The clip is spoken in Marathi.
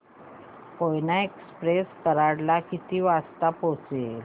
कोयना एक्सप्रेस कराड ला किती वाजता पोहचेल